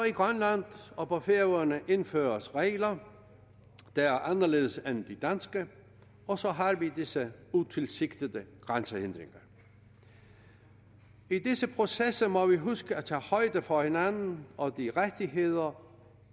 i grønland og på færøerne indføres der regler der er anderledes end de danske og så har vi disse utilsigtede grænsehindringer i disse processer må vi huske at tage højde for hinanden og for de rettigheder